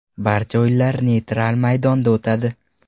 Barcha o‘yinlar neytral maydonda o‘tadi.